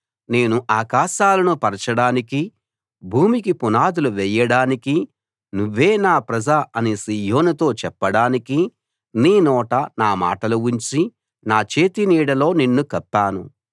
నేను ఆకాశాలను పరచడానికీ భూమికి పునాదులు వేయడానికీ నువ్వే నా ప్రజ అని సీయోనుతో చెప్పడానికీ నీ నోట నా మాటలు ఉంచి నా చేతి నీడలో నిన్ను కప్పాను